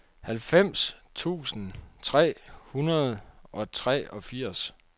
halvfems tusind tre hundrede og treogfirs